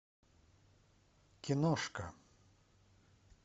киношка